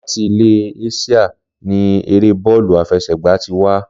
Láti ilé Ásíà ni eré Bọ́ọ́lù àfesẹ̀gbá ti wá